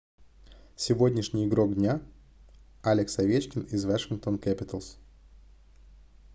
сегодняшний игрок дня алекс овечкин из washington capitals